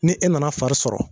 Ni e nana fari sɔrɔ